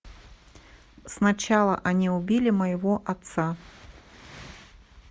сначала они убили моего отца